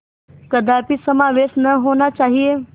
कदापि समावेश न होना चाहिए